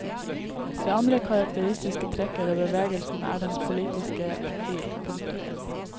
Det andre karakteristiske trekket ved bevegelsen er dens politiske profil. punktum